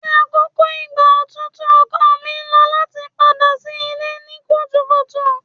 Ni akoko igba otutu ọkọ mi lo lati pada si ile ni kutukutu